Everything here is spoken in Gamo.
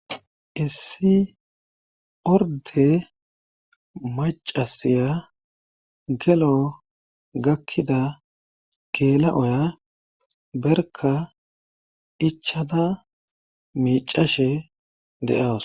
issi orde macasiya gelo gakkida geela oya berka ichada miicashe de7awus